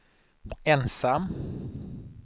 ensam